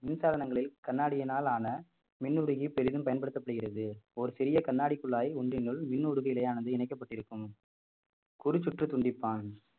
மின்சாதனங்களில் கண்ணாடியினால் ஆன மின் உருகி பெரிதும் பயன்படுத்தப்படுகிறது ஓர் சிறிய கண்ணாடி குழாய் ஒன்றினுள் மின் உருகு நிலையானது இணைக்கப்பட்டிருக்கும் குரு சுற்று துண்டிப்பான்